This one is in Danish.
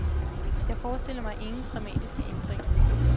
Jeg forestiller mig ingen dramatiske ændringer.